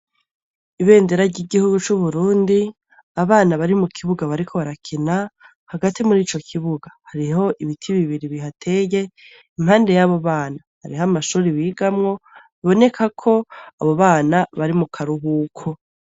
Ibendera ry'igihugu c'Uburundi abana bari mu kibuga bariko barakena hagati muri ico kibuga hariho ibiti bibiri bihateye impande y'abo bana hariho amashuri bigamwo biboneka ko abo bana bari mu karuhuko.